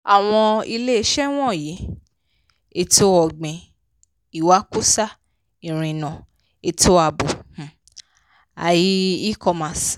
àwọn iléeṣẹ́ wọ̀nyí: ètò-ọ̀gbìn ìwakùsà ìrìnà ètò ààbò um ai e-commerce.